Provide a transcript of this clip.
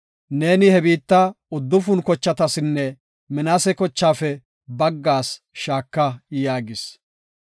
Neeni he biitta uddufun kochatasinne Minaase kochaafe baggaas shaaka” yaagis.